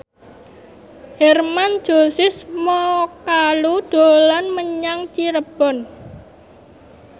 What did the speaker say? Hermann Josis Mokalu dolan menyang Cirebon